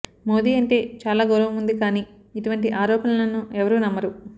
మోదీ అంటే చాలా గౌరవం ఉంది కానీఇటువంటి ఆరోపణలను ఎవరూ నమ్మరు